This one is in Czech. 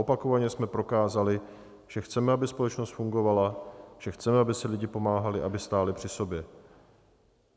Opakovaně jsme prokázali, že chceme, aby společnost fungovala, že chceme, aby si lidé pomáhali, aby stáli při sobě.